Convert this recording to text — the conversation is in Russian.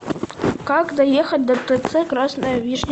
как доехать до тц красная вишня